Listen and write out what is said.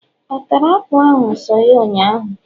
ọ tara apulu ahu so ya ụnyaahụ?